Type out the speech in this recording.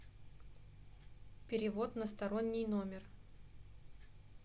перевод на сторонний номер